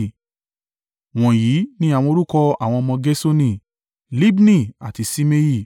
Wọ̀nyí ni àwọn orúkọ àwọn ọmọ Gerṣoni: Libni àti Ṣimei.